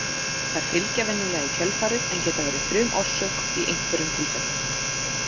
Þær fylgja venjulega í kjölfarið en geta verið frumorsök í einhverjum tilfellum.